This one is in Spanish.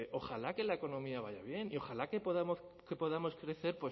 ojalá que la economía vaya bien y ojalá que podamos crecer